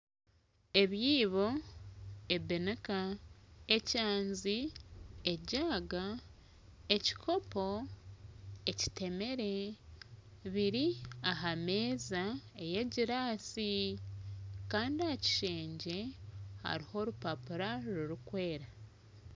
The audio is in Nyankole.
Ebiibo, ebinika, ekyanzi, ejaaga, ekikopo, ekitemere biri aha meeza ey'egiraasi kandi aha kishengye hariho orupapura rurikwera.